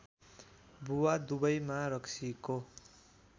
बुवा दुवैमा रक्सीको